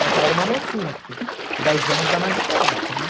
Ela já era uma mocinha, porque dez anos dá uma diferença, né?